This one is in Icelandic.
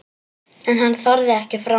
En hann þorði ekki fram.